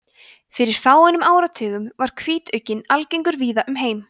fyrir fáeinum áratugum var hvítugginn algengur víða um heim